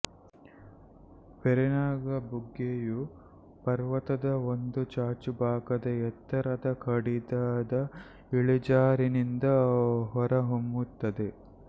ವೇರಿನಾಗ್ ಬುಗ್ಗೆಯು ಪರ್ವತದ ಒಂದು ಚಾಚುಭಾಗದ ಎತ್ತರದ ಕಡಿದಾದ ಇಳಿಜಾರಿನಿಂದ ಹೊರಹೊಮ್ಮುತ್ತದೆ